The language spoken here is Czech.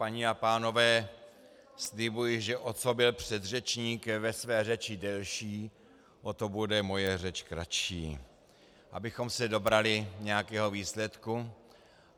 Paní a pánové, slibuji, že o co byl předřečník ve své řeči delší, o to bude moje řeč kratší, abychom se dobrali nějakého výsledku.